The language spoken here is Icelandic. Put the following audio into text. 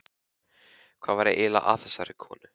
Hvað var eiginlega að þessari konu?